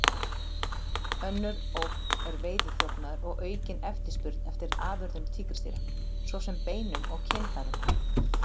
Önnur ógn er veiðiþjófnaður og aukin eftirspurn eftir afurðum tígrisdýra, svo sem beinum og kynfærum.